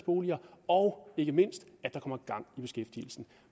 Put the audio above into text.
boliger og ikke mindst at der kommer gang i beskæftigelsen